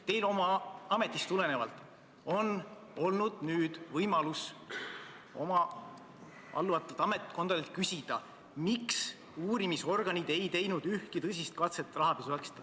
Teil on oma ametist tulenevalt olnud võimalus teile alluvatelt ametkondadelt küsida, miks uurimisorganid seda ei teinud.